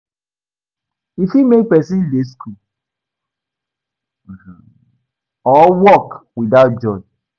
E fit make persin de school or work without joy